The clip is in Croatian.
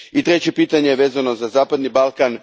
Treće je pitanje vezano za zapadni Balkan.